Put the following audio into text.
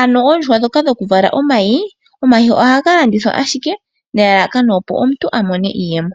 Ano oondjuhwa ndhoka dhoku vala omayi, omayi ohaga landithwa ashike nelalakano opo omuntu amone iiyemo.